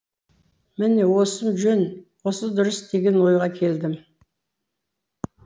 міне осым жөн осы дұрыс деген ойға келдім